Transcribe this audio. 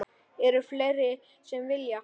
Eru fleiri sem vilja?